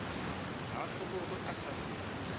ga a hlobogwe a sa